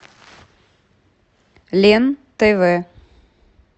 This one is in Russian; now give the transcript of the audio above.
лен тв